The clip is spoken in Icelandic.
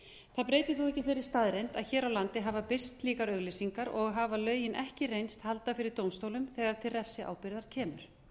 það breytir þó ekki þeirri staðreynd að hér á landi hafa birst slíkar auglýsingar og hafa lögin ekki reynst halda fyrir dómstólum þegar til refsiábyrgðar kemur